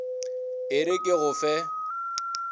e re ke go fe